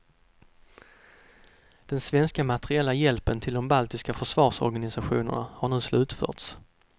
Den svenska materiella hjälpen till de baltiska försvarsorganisationerna har nu slutförts.